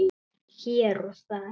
Hér og þar.